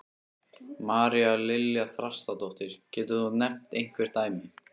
María Lilja Þrastardóttir: Getur þú nefnt einhver dæmi?